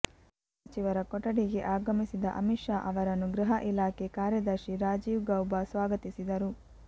ಗೃಹ ಸಚಿವರ ಕೊಠಡಿಗೆ ಆಗಮಿಸಿದ ಅಮಿತ್ ಶಾ ಅವರನ್ನು ಗೃಹ ಇಲಾಖೆ ಕಾರ್ಯದರ್ಶಿ ರಾಜೀವ್ ಗೌಬಾ ಸ್ವಾಗತಿಸಿದರು